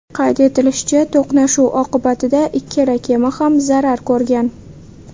Qayd etilishicha, to‘qnashuv oqibatida ikkala kema ham zarar ko‘rgan.